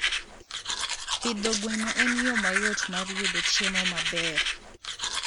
Pidho gwen en yo mayot mar yudo chiemo maber.